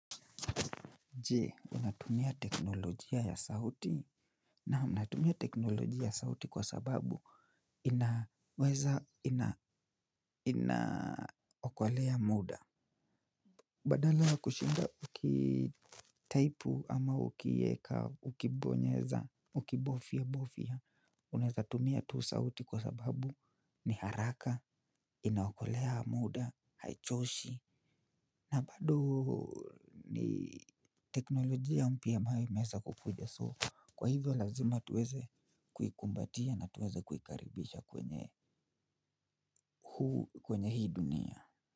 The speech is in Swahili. Je, unatumia teknolojia ya sauti na unatumia teknolojia ya sauti kwa sababu inaweza inaokolea muda. Badala kushinda ukitaipu ama ukiweka, ukibonyeza, ukibofia, bofia, unatumia tu sauti kwa sababu ni haraka, inaokolea muda, haichoshi, na bado ni teknolojia mpya ambayo imeweza kukuja so. Kwa hivyo lazima tuweze kuikumbatia na tuweze kuikaribisha kwenye huu kwenye hii dunia.